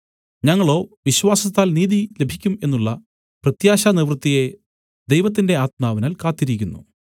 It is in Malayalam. ഞങ്ങളോ വിശ്വാസത്താൽ നീതി ലഭിക്കും എന്നുള്ള പ്രത്യാശാനിവൃത്തിയെ ദൈവത്തിന്‍റെ ആത്മാവിനാൽ കാത്തിരിക്കുന്നു